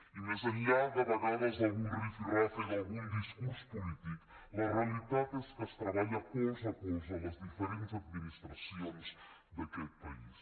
i més enllà de vegades d’algun rifirrafe d’algun discurs polític la realitat és que es treballa colze a colze a les diferents administracions d’aquest país